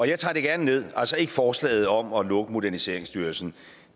jeg tager det gerne ned dog ikke forslaget om at lukke moderniseringsstyrelsen